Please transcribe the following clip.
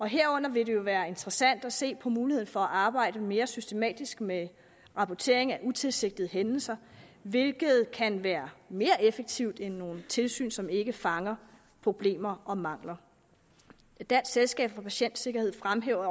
herunder vil det jo være interessant at se på muligheden for at arbejde mere systematisk med rapportering af utilsigtede hændelser hvilket kan være mere effektivt end nogle tilsyn som ikke fanger problemer og mangler dansk selskab for patientsikkerhed fremhæver